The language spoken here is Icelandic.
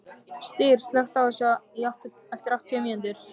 Styr, slökktu á þessu eftir áttatíu mínútur.